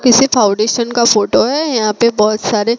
किसी फाउंडेशन का फोटो है यहां पे बहोत सारे--